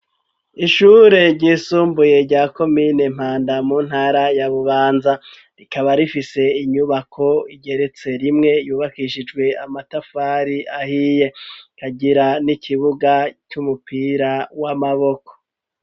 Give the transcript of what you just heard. Ishure ry'isumbuye rya komine Mpanda mu ntara ya Bubanza rikaba rifise inyubako igeretse rimwe yubakishijwe amatafari ahiye ikagira n'ikibuga c'umupira w'amaboko.